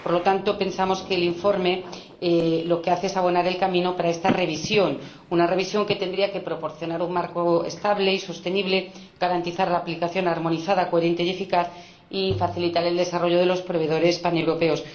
Por lo tanto, pensamos que el informe lo que hace es abonar el camino para esta revisión, una revisión que tendría que proporcionar un marco estable y sostenible, garantizar su aplicación armonizada, coherente y eficaz y facilitar el desarrollo de los proveedores paneuropeos.